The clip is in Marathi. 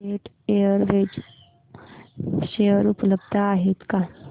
जेट एअरवेज शेअर उपलब्ध आहेत का